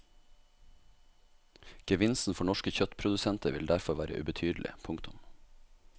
Gevinsten for norske kjøttprodusenter ville derfor være ubetydelig. punktum